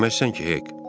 Deməzsən ki, Hek?